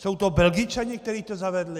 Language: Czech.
Jsou to Belgičané, kteří to zavedli?